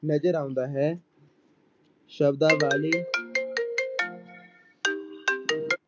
ਨਜ਼ਰ ਨਜ਼ਰ ਆਉਂਦਾ ਹੈ ਸ਼ਬਦਾਵਲੀ